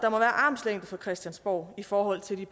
armslængde fra christiansborg i forhold til de